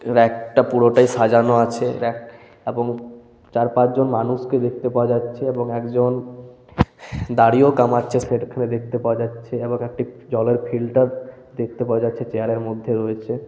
Rake টা পুরোটাই সাজানো আছে রেক এবং চারপাঁচজন মানুষকে দেখতে পাওয়া যাচ্ছে এবং একজন দাড়ি ও কামাচ্ছে দেখতে পাওয়া যাচ্ছে এবং একটি জলের ফিল্টার দেখতে পাওয়া যাচ্ছে চেয়ার এর মধ্যে রয়েছে। .>